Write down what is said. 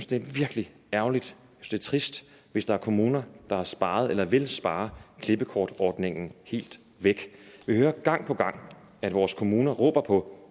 det virkelig er ærgerligt og trist hvis der er kommuner der har sparet eller vil spare klippekortordningen helt væk vi hører gang på gang at vores kommuner råber på